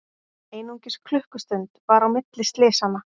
Einungis klukkustund var á milli slysanna